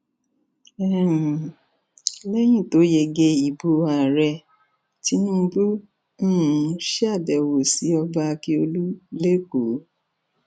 um lẹyìn tó yege ìbò ààrẹ tinubu um ṣàbẹwò sí ọba ákíọlù lẹkọọ